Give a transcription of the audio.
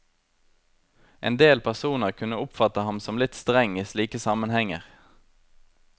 Endel personer kunne oppfatte ham som litt streng i slike sammenhenger.